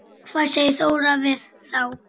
Hvað segir Þóra við þá?